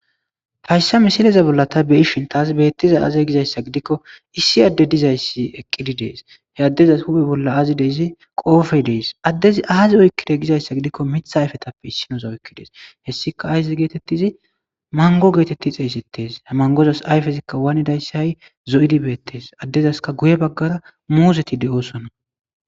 hayssa misileza bolla ta beishin taas beettiza aaze gizayssa gidikko issi adde dizayssi eqqidi dees he addezas hubi bolla aazi deyzi qoofey dees addezi aazi oykkide gizayssa gidikko mitha ayfetappe issinosa oykki dees hessika ayzi geetettizi mango geetetti xeeysetes ha mangozas ayfezikka waanidayssi hay zo7idibeettees addezaska guye baggara muuzeti de7osonna